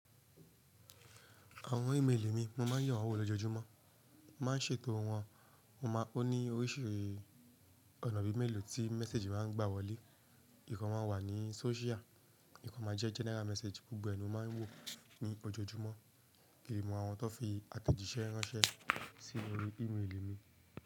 Àwọn ìméèli mi mo ma ń yewọn wò lójojúmọ́. Ma ń ṣètò wọn, mo mọ ó ní oríṣi ọ̀nà bí méèlo tí méssage ma ń gbà wọlé. Ìkan ma wà ní sóṣíà, ìkan ma jẹ́ general message gbogbo ẹni ó máa ń wò ní ojoojúmọ́. Kì í mọ àwọn tó fi àtẹ̀jíṣẹ́ ránṣẹ́ sínú orí ìméèli mi.